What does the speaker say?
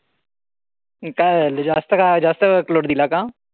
काय झालं जास्त का जास्त load दिला का?